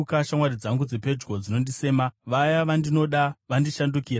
Shamwari dzangu dzepedyo dzinondisema; vaya vandinoda vandishandukira.